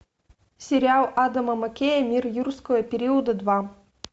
сериал адама маккея мир юрского периода два